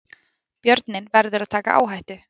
Björninn verður að taka áhættu